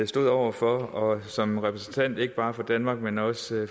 stod over for og som repræsentant for ikke bare danmark men også